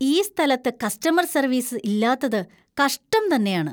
ഈ സ്ഥലത്ത് customer‍ service ഇല്ലാത്തത് കഷ്ടം തന്നെയാണ് .